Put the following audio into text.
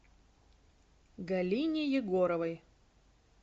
галине егоровой